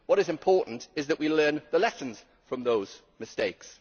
What is important is that we learn the lessons from those mistakes.